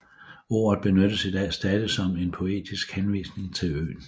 Ordet benyttes i dag stadig som en poetisk henvisning til øen